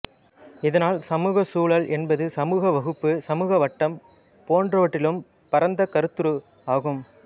இதனால் சமூகச் சூழல் என்பது சமூக வகுப்பு சமூக வட்டம் போன்றவற்றிலும் பரந்த கருத்துரு ஆகும்